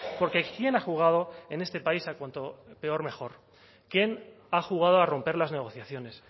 por qué quién ha jugado en este país a cuanto peor mejor quién ha jugado a romper las negociaciones